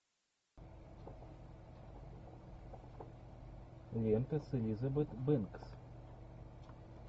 лента с элизабет бэнкс